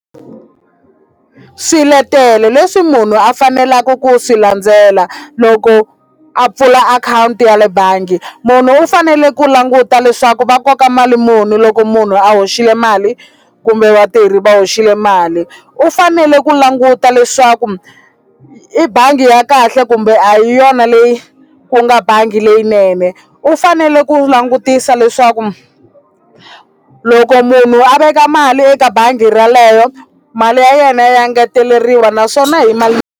Swiletelo leswi munhu a faneleke ku swi landzela loko a pfula akhawunti ya le bangi munhu u fanele ku languta leswaku va koka mali muni loko munhu a hoxile mali kumbe vatirhi va hoxile mali u fanele ku languta leswaku i bangi ya kahle kumbe a hi yona leyi ku nga bangi leyinene u fanele ku langutisa leswaku loko munhu a veka mali eka bangi ra leyo mali ya yena ya ngeteleriwa naswona hi mali.